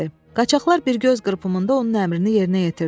Qaçaqlar bir göz qırpımında onun əmrini yerinə yetirdilər.